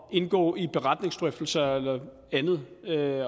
indgå i beretningsdrøftelser eller andet